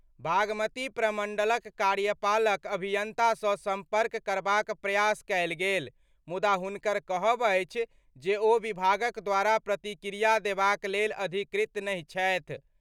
बागमती प्रमंडलक कार्यपालक अभियंता सं संपर्क करबाक प्रयास कएल गेल, मुदा हुनकर कहब अछि जे ओ विभागक द्वारा प्रतिक्रिया देबाक लेल अधिकृत नहि छथि।